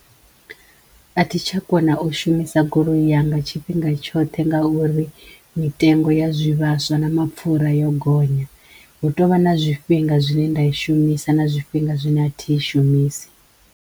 A thi tsha kona u shumisa goloi yanga tshifhinga tshoṱhe ngauri mitengo ya zwivhaswa na mapfura yo gonya hu tovha na zwifhinga zwine nda i shumisa na zwifhinga zwine a thi i shumisi.